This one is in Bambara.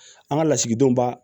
An ka lasigidenw ba